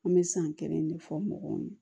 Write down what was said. An bɛ san kelen de fɔ mɔgɔw ɲɛnɛ